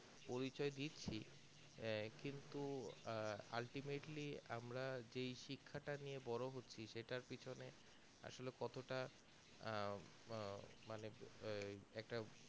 পরিচয় দিচ্ছি আহ কিন্তু আহ ultimately আমরা যে শিক্ষাটা নিয়ে বোরো হচ্ছি সেটার পেছনে আসলে কতটা আহ হু মানে একটা